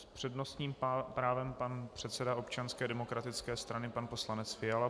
S přednostním právem pan předseda Občanské demokratické strany pan poslanec Fiala.